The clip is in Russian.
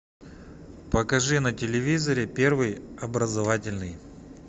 покажи на телевизоре первый образовательный